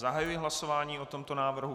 Zahajuji hlasování o tomto návrhu.